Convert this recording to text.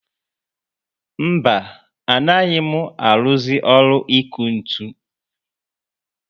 Mba, anaghị mụ aruzi ọrụ iku ntụ